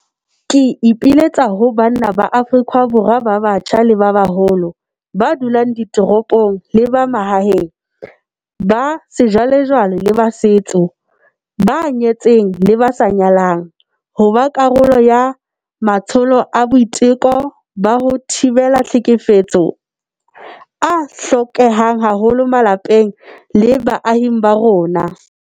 Ke ipiletsa ho banna ba Afrika Borwa ba batjha le ba baholo, ba dulang ditoropong le ba mahaeng, ba sejwalejwale le ba setso, ba nyetseng le ba sa nyalang, ho ba karolo ya matsholo a boiteko ba ho thibela tlhekefetso a hlokehang haholo malapeng le baahing ba rona.